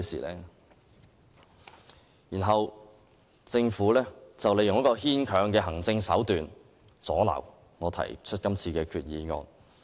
其後，政府運用牽強的行政手段，阻撓我提出今次的擬議決議案。